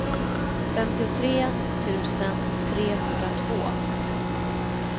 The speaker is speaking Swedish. femtiotre tusen trehundratvå